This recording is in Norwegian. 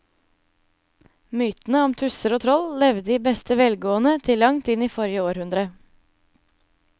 Mytene om tusser og troll levde i beste velgående til langt inn i forrige århundre.